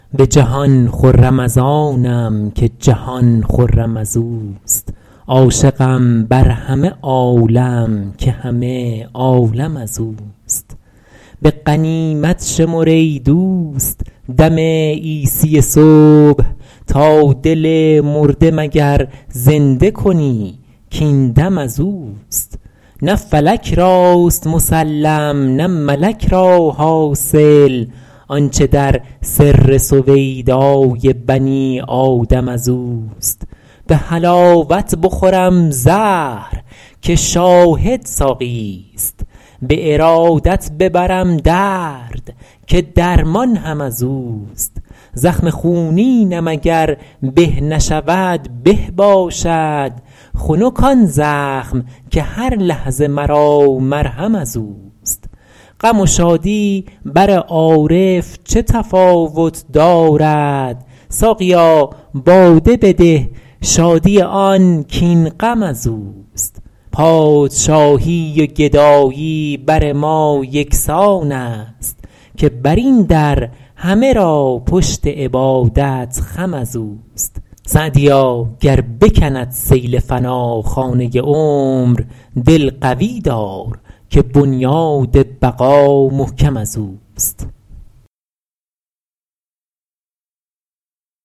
به جهان خرم از آنم که جهان خرم از اوست عاشقم بر همه عالم که همه عالم از اوست به غنیمت شمر ای دوست دم عیسی صبح تا دل مرده مگر زنده کنی کاین دم از اوست نه فلک راست مسلم نه ملک را حاصل آنچه در سر سویدای بنی آدم از اوست به حلاوت بخورم زهر که شاهد ساقیست به ارادت ببرم درد که درمان هم از اوست زخم خونینم اگر به نشود به باشد خنک آن زخم که هر لحظه مرا مرهم از اوست غم و شادی بر عارف چه تفاوت دارد ساقیا باده بده شادی آن کاین غم از اوست پادشاهی و گدایی بر ما یکسان است که بر این در همه را پشت عبادت خم از اوست سعدیا گر بکند سیل فنا خانه عمر دل قوی دار که بنیاد بقا محکم از اوست